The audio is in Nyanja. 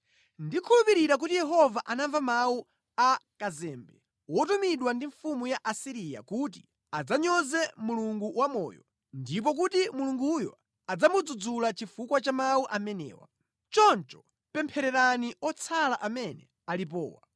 Mwina Yehova Mulungu wanu adzamva mawu onse a kazembe amene mbuye wake, mfumu ya ku Asiriya anamutuma kudzanyoza Mulungu wamoyo, ndipo Mulunguyo adzamulanga chifukwa cha mawu amene Yehova Mulungu wanu wamva. Choncho pemphererani anthu otsala amene akanali ndi moyo.”